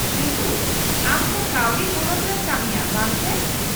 -ᱨᱤᱛᱩ, ᱟᱢ ᱛᱚ ᱠᱟᱹᱣᱰᱤ ᱛᱷᱚᱱᱚᱛ ᱨᱮᱢ ᱠᱟᱹᱢᱤᱭᱟ, ᱵᱟᱝ ᱥᱮ ?